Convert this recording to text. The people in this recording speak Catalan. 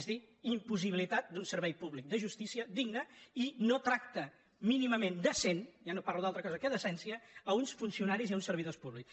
és a dir impossibilitat d’un servei públic de jus·tícia digne i no tracte mínimament decent ja no parlo d’altra cosa que de decència a uns funcionaris i a uns servidors públics